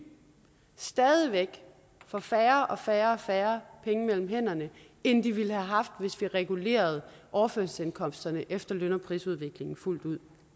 stadig væk får færre og færre færre penge mellem hænderne end de ville have haft hvis vi regulerede overførselsindkomsterne efter løn og prisudviklingen fuldt ud